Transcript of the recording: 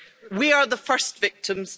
We are the first victims